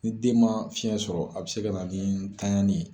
Ni den man fiyɛn sɔrɔ a bɛ se ka na nin tanyanli ye.